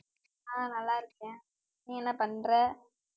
ஆஹ் நல்லா இருக்கேன் நீ என்ன பண்ற